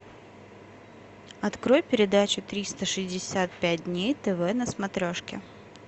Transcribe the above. открой передачу триста шестьдесят пять дней тв на смотрешке